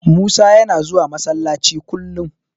Musa yana zuwa Masallaci kullum.